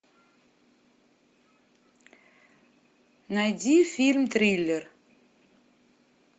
найди фильм триллер